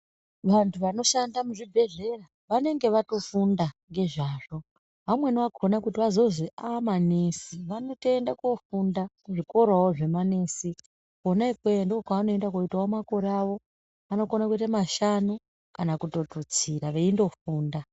Vantu vanoshanda muzvibhedhlera vanenge vatofunda nezvazvo vamweni vakona kuti vazonzi ava manesi vanotiende kunofunda zvikorawo zve manesi kuna ikokweyo ndokwa vanokona kuitawo makore avo anokona kuita mashanu kana kututsira veingofunda.